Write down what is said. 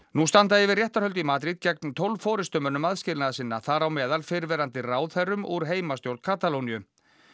nú standa yfir réttarhöld í Madrid gegn tólf forystumönnum aðskilnaðarsinna þar á meðal fyrrverandi ráðherrum úr heimastjórn Katalóníu